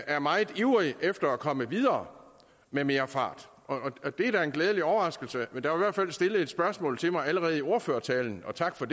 er meget ivrig efter at komme videre med mere fart og det er da en glædelig overraskelse der hvert fald stillet et spørgsmål til mig allerede i ordførertalen og tak for